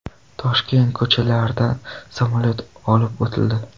Toshkent ko‘chalaridan samolyot olib o‘tildi.